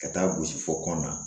Ka taa gosi fo kɔnɔn na